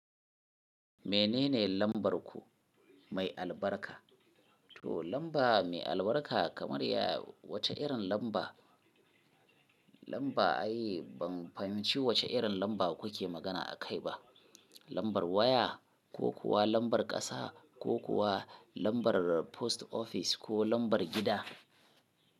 Menene lambar ku mai albarka? To lamba mai albarka kamar ya wace irin lamba? Lamba ai ban fahimci wace irin lamba kuke magana a kai ba. Lambar waya ko kuwa lambar ƙasa ko kuwa lambar post ofis ko lambar gida?